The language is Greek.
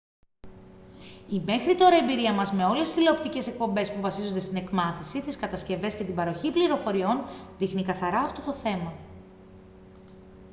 η μέχρι τώρα εμπειρία μας με όλες τις τηλεοπτικές εκπομπές που βασίζονται στην εκμάθηση τις κατασκευές και την παροχή πληροφοριών δείχνει καθαρά αυτό το θέμα